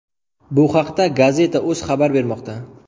Bu haqda Gazeta.uz xabar bermoqda .